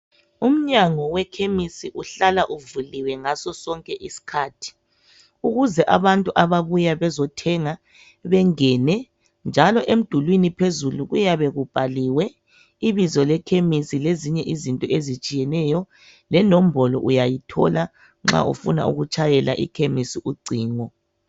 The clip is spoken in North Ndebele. Umnyango wekhemisi uhlala uvuliwe ngasosonke isikhathi ukuze abantu ababuya bezothenga bengene emdulini phezulu kuyabe kubhaliwe ibizo lekhemisi lezinye izinto ezitshiyeneyo lenombolo uyayithola nxa ufuna ukutshayela ekhemisi ucingo.